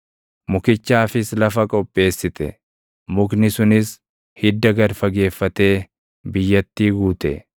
Mukichaafis lafa qopheessite; mukni sunis hidda gad fageeffatee biyyattii guute.